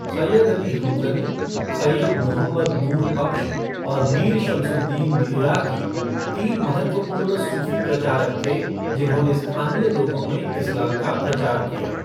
सैयद अली हमदनी, सैयद मुहम्मद नूर बख्श और मीर शमसुद्दीन इराकी, तीन महत्वपूर्ण सूफ़ी प्रचारक थे जिन्होंने स्थानीय लोगों में इस्लाम का प्रचार किया।